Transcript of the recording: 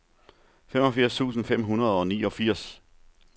femogfirs tusind fem hundrede og niogfirs